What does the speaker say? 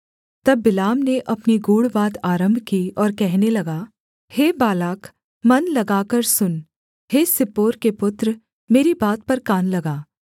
तब बिलाम ने अपनी गूढ़ बात आरम्भ की और कहने लगा हे बालाक मन लगाकर सुन हे सिप्पोर के पुत्र मेरी बात पर कान लगा